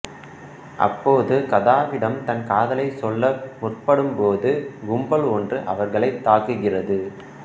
அப்போது கதாவிடம் தன் காதலைச்சொல்ல முற்படும் போது கும்பல் ஒன்று அவர்களைத்தாககுகிறது